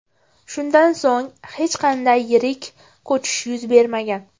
Shundan so‘ng hech qanday yirik ko‘chish yuz bermagan”.